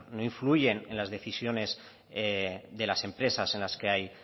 no influyen en las decisiones de las empresas en las que hay